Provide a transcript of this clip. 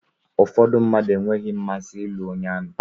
Ụfọdụ mmadụ enweghị mmasị ịlụ onye amị.